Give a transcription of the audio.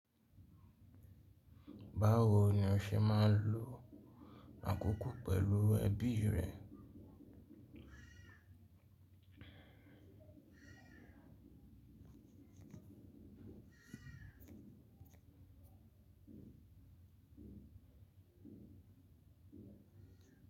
Báwo ni o ṣe máa ń lo àkókò pẹ̀lú ẹbí rẹ?